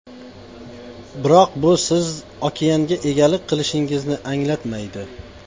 Biroq bu siz okeanga egalik qilishingizni anglatmaydi.